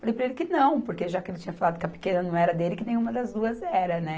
Falei para ele que não, porque já que ele tinha falado que a pequena não era dele, que nenhuma das duas era, né?